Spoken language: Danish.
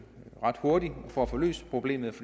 ret hurtigt for at få løst problemet